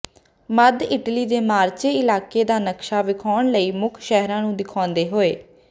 ਮੱਧ Italy ਦੇ Marche ਇਲਾਕੇ ਦਾ ਨਕਸ਼ਾ ਵਿਖਾਉਣ ਲਈ ਮੁੱਖ ਸ਼ਹਿਰਾਂ ਨੂੰ ਦਿਖਾਉਂਦੇ ਹੋਏ